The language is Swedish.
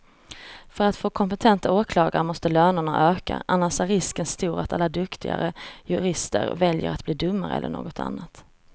För att få kompetenta åklagare måste lönerna öka, annars är risken stor att alla duktigare jurister väljer att bli domare eller något annat.